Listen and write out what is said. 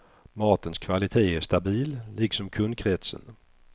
Matens kvalitet är stabil, liksom kundkretsen.